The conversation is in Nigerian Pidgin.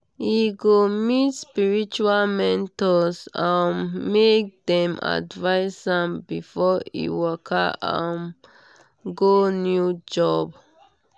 e go meet spiritual mentors um make dem advise am before e waka um go new job.